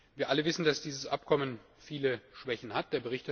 Wir alle wissen, dass dieses Abkommen viele Schwächen hat.